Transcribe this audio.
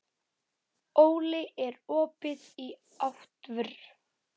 Óli, er opið í ÁTVR?